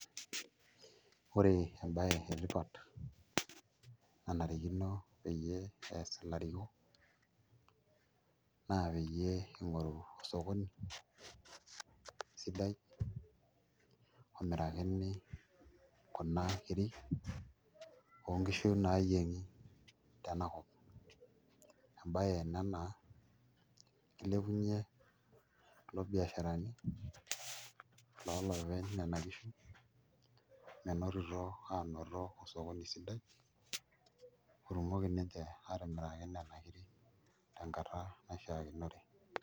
Ore embaye etipat nanarikino peyie ees ilarikok naa peyie ing'oru osokoni sidai omirakini kuna kirri oonkishu naayieng'i tenakop embaye ena naa kilepunyie kulo biasharani looloopeny nena kishu menotito aanoto osokoni sidai otumoki ninche aatimiraki nena kiri tenkata naishiakinore.